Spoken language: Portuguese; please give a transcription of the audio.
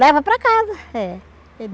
Leva para casa. É